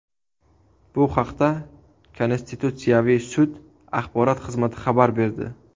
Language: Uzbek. Bu haqda Konstitutsiyaviy sud axborot xizmati xabar berdi .